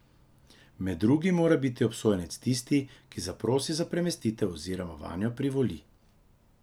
Med drugim mora biti obsojenec tisti, ki zaprosi za premestitev oziroma vanjo privoli.